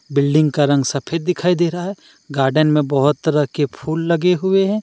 Building का रंग सफेद दिखाई दे रहा है गार्डन में बहोत तरह के फूल लगे हुए हैं।